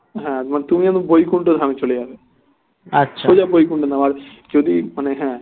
হ্যাঁ তুমি এখন বৈকুণ্ঠধাম এ চলে যাবে সোজা বৈকুণ্ঠধাম আর যদি মানে হ্যাঁ